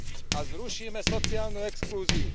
A zrušíme sociálnu exklúziu.